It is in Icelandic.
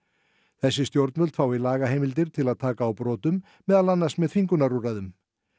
þessi stjórnvöld fái lagaheimildir til að taka á brotum meðal annars með þvingunarúrræðum